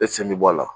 E sen bɛ bɔ a la